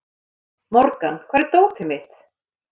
Morgan, hvar er dótið mitt?